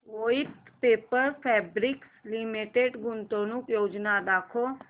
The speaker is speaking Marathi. वोइथ पेपर फैब्रिक्स लिमिटेड गुंतवणूक योजना दाखव